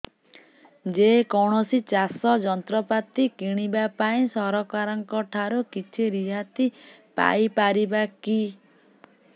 ଯେ କୌଣସି ଚାଷ ଯନ୍ତ୍ରପାତି କିଣିବା ପାଇଁ ସରକାରଙ୍କ ଠାରୁ କିଛି ରିହାତି ପାଇ ପାରିବା କି